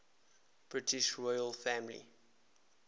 british royal family